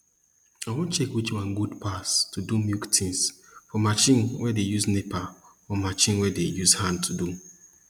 i wan check which one good pass to do milk tins for marchin wey dey use nepa and marchin wey dem dey use hand do